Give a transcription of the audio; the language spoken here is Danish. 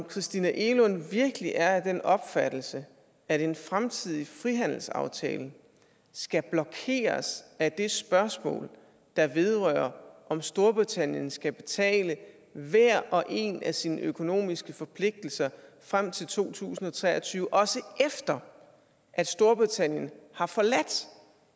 christina egelund virkelig er af den opfattelse at en fremtidig frihandelsaftale skal blokeres af det spørgsmål der vedrører om storbritannien skal betale hver og en af sine økonomiske forpligtelser frem til to tusind og tre og tyve også efter at storbritannien har forladt